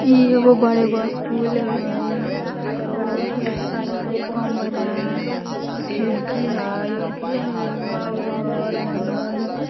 ई एगो बड़े गो स्कूल हई आउ ढेर सारा हई कमरा खिड़की हई उपरे हई एग आर घर बनल --